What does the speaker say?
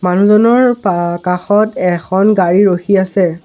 মানুহজনৰ পা কাষত এখন গাড়ী ৰাখি আছে।